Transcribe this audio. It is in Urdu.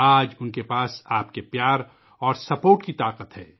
آج ، ان کے پاس آپ کی محبت اور حمایت کی قوت ہے